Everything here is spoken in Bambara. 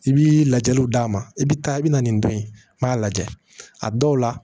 I bi lajɛliw d'a ma i bi taa i bi na nin don yen m'a lajɛ a dɔw la